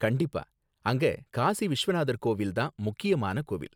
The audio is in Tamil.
கண்டிப்பா, அங்க காசி விஷ்வநாதர் கோவில் தான் முக்கியமான கோவில்